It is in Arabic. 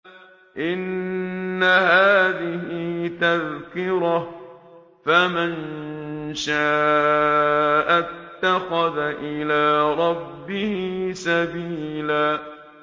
إِنَّ هَٰذِهِ تَذْكِرَةٌ ۖ فَمَن شَاءَ اتَّخَذَ إِلَىٰ رَبِّهِ سَبِيلًا